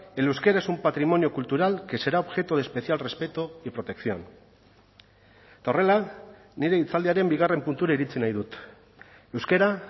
el euskera es un patrimonio cultural que será objeto de especial respeto y protección eta horrela nire hitzaldiaren bigarren puntura iritsi nahi dut euskara